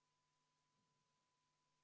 Oleme eelnõu 345 muudatusettepanekute juures.